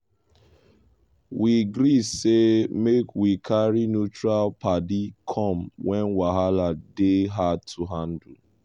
we gree say make we carry neutral padi come when wahala dey hard to handle.